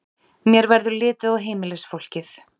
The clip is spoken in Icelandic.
Mér verður litið á heimilisfólkið.